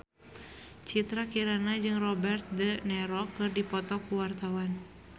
Citra Kirana jeung Robert de Niro keur dipoto ku wartawan